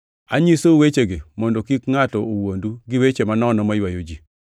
Anyisou wechegi mondo kik ngʼato owuondu gi weche manono maywayo ji.